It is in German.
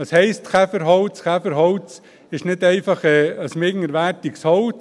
Was heisst Käferholz: Käferholz ist nicht einfach ein minderwertiges Holz.